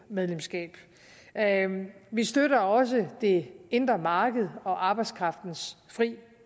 medlemskab af eu vi støtter også det indre marked og arbejdskraftens frie